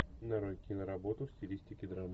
нарой киноработу в стилистике драма